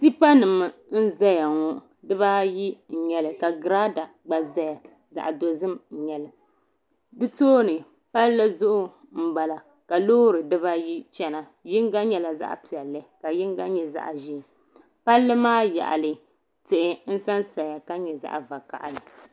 Tipanima n zaya ŋɔ dibaayi n nyɛli ka giraada gba zaya zaɣa dozim n nyɛli di tooni palli zuɣu m bala Loori dibaayi chena yinga nyɛla zaɣa piɛlli ka yinga nyɛ zaɣa ʒee palli maa yaɣali tihi n sansaya ka nyɛ zaɣa vakahali.